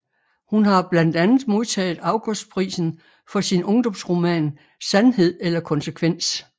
Hun har blandt andet modtaget Augustprisen for sin ungdomsroman Sandhed eller konsekvens